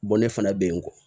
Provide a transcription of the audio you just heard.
ne fana bɛ yen n kɔ